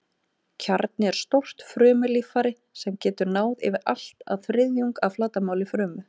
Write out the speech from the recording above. Kjarni er stórt frumulíffæri sem getur náð yfir allt að þriðjung af flatarmáli frumu.